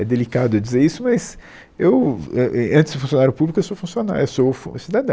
É delicado dizer isso, mas eu, é eh antes do funcionário público, eu sou funcionário, eu sou fu, cidadão.